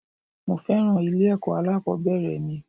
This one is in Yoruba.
Mo féràn ilé ẹ̀kọ́ alákòbẹ̀rẹ̀ mi.